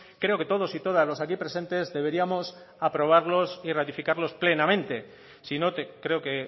creo que todos y todas los aquí presentes deberíamos aprobarlos y ratificarlos plenamente sino creo que